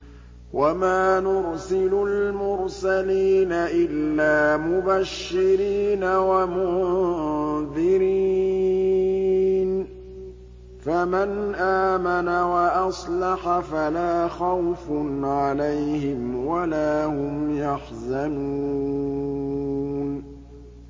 وَمَا نُرْسِلُ الْمُرْسَلِينَ إِلَّا مُبَشِّرِينَ وَمُنذِرِينَ ۖ فَمَنْ آمَنَ وَأَصْلَحَ فَلَا خَوْفٌ عَلَيْهِمْ وَلَا هُمْ يَحْزَنُونَ